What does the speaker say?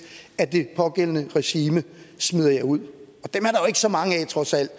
at det pågældende regime smider jer ud og ikke så mange af trods alt